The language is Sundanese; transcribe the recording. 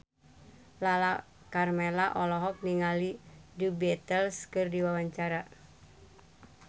Lala Karmela olohok ningali The Beatles keur diwawancara